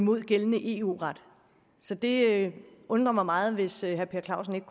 imod gældende eu ret så det undrer mig meget hvis herre per clausen ikke